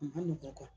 A ma nɔgɔn